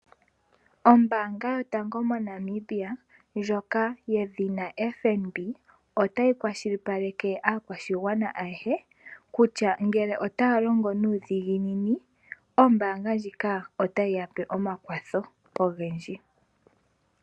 Oombaanga yotango moNamibia ndjoka yedhina FNB otayi kwashilipaleke aakwashigwana ayehe kutya ngele otaya longo nuudhiginini ombaanga ndjika otayi yape omakwatho ogendji